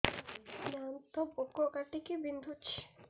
ଦାନ୍ତ ପୋକ କାଟିକି ବିନ୍ଧୁଛି